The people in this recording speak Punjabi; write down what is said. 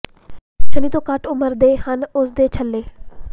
ਸ਼ਨੀ ਤੋਂ ਘੱਟ ਉਮਰ ਦੇ ਹਨ ਉਸ ਦੇ ਛੱਲੇ